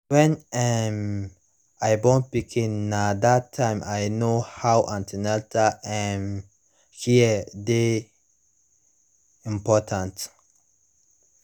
when um i born pikin na that tym i know how an ten atal um care dey important